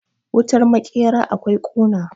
wutar makera akwai kuna